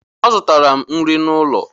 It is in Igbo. Azụtara m nri n'ụlọ.